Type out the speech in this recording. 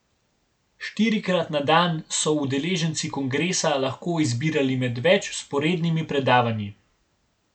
Štirikrat na dan so udeleženci kongresa lahko izbirali med več vzporednimi predavanji.